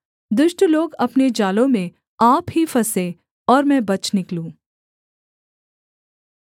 दुष्ट लोग अपने जालों में आप ही फँसें और मैं बच निकलूँ